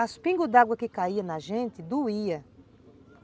Os pingos d'água que caíam na gente doíam.